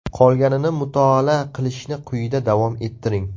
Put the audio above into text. Qolganini mutolaa qilishni quyida davom ettiring.